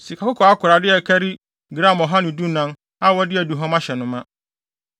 sikakɔkɔɔ akorade a ɛkari gram ɔha ne dunan (114) a wɔde aduhuam ahyɛ no ma;